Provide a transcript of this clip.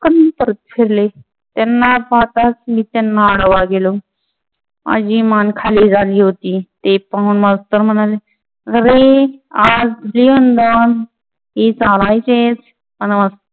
फिरले त्यांना पाहताच मी त्यांना आडवा गेलो. माझी मान खाली झाली होती. ते पाहून मास्टर म्हणाले, अरे आज जीवनदान हे चालायचेच.